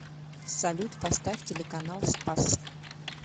салют поставь телеканал спас